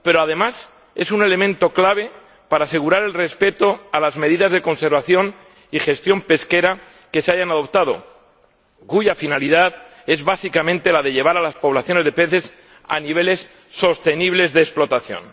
Pero, además, es un elemento clave para asegurar el respeto de las medidas de conservación y gestión pesquera que se hayan adoptado, cuya finalidad es básicamente llevar a las poblaciones de peces a niveles sostenibles de explotación.